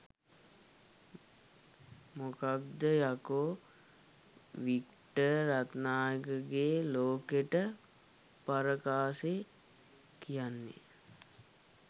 මොකක්ද යකෝ වික්ටර් රත්නායකගේ ලෝකෙට පරකාසේ කියන්නේ.